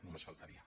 només faltaria